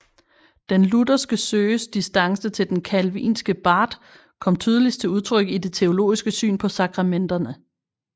Den lutherske Søes distance til den calvinske Barth kom tydeligst til udtryk i det teologiske syn på sakramenterne